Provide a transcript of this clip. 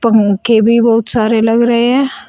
पंखे भी बहुत सारे लग रहे हैं।